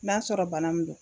N'a sɔrɔ bana min don